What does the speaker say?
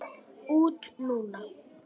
Út núna?